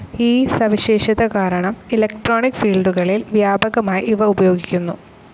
ഈ സവിശേഷത കാരണം ഇലക്ട്രോണിക്‌ ഫീൽഡുകളിൽ വ്യാപകമായി ഇവ ഉപയോഗിക്കുന്നു.